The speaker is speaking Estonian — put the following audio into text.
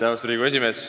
Austatud Riigikogu esimees!